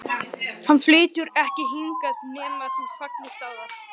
Hann flytur ekki hingað nema þú fallist á það.